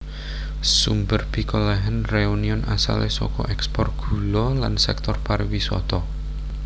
Sumber pikolèhan Réunion asalé saka ekspor gula lan sektor pariwisata